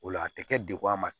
O la a tɛ kɛ degun a ma